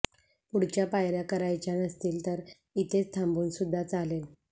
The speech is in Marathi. पुढच्या पायऱ्या करायच्या नसतील तर इथेच थांबून सुद्धा चालेल